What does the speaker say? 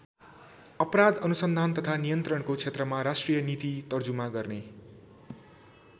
अपराध अनुसन्धान तथा नियन्त्रणको क्षेत्रमा राष्ट्रिय नीति तर्जुमा गर्ने।